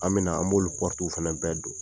An bɛna an bɛna fana bɛɛ don.